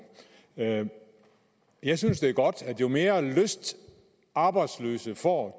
jeg synes det er godt jo mere lyst arbejdsløse får